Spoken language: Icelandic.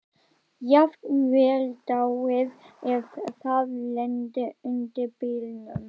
Jafnvel dáið ef það lenti undir bílnum.